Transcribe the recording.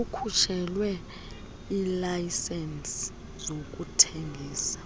akhutshelwe iilayisenisi zokuthengisa